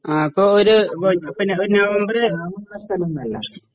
ആ ഇപ്പൊ ഒര് പിന്നെ ഇപ്പ നവംബറ്